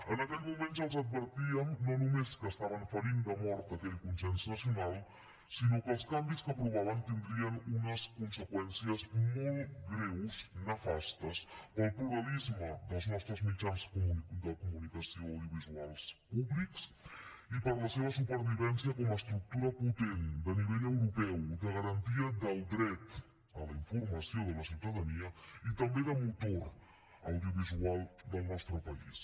en aquell moment ja els advertíem no només que estaven ferint de mort aquell consens nacional sinó que els canvis que aprovaven tindrien unes conseqüències molt greus nefastes per al pluralisme dels nostres mitjans de comunicació audiovisuals públics i per a la seva supervivència com a estructura potent de nivell europeu de garantia del dret a la informació de la ciutadania i també de motor audiovisual del nostre país